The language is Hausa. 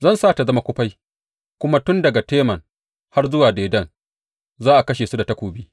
Zan sa ta zama kufai, kuma tun daga Teman har zuwa Dedan za a kashe su da takobi.